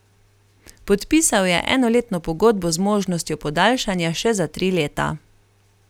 Podpisal je enoletno pogodbo z možnostjo podaljšanja še za tri leta.